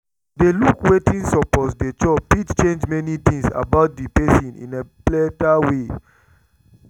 to dey look wetin suppose dey chop fit change many things about the person in a better way